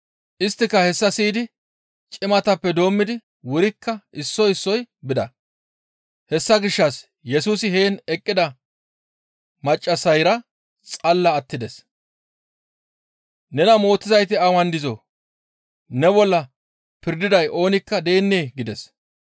Isttika hessa siyidi cimatappe doommidi wurikka issoy issoy bida; hessa gishshas Yesusi heen eqqida maccassayra xalla attides. «Nena mootizayti awan dizoo? Ne bolla pirdiday oonikka deennee?» gides.